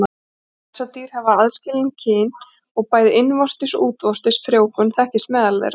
Bessadýr hafa aðskilin kyn og bæði innvortis og útvortis frjóvgun þekkist meðal þeirra.